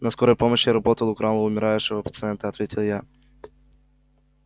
на скорой помощи работал украл у умирающего пациента ответил я